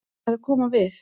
Hann er að koma við.